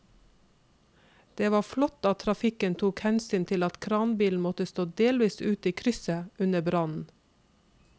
Det var flott at trafikken tok hensyn til at kranbilen måtte stå delvis ute i krysset under brannen.